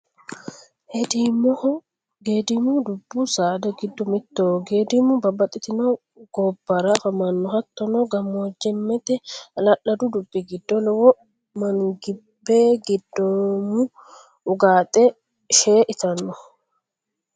Heedimoho, geedimu dubu saada gido mitoho, geedimu babaxitino gabara afamanno hatton gamoojameete ha'la'ladu dubi gido, lowo manibgeedimo ugaaxxe shee itanno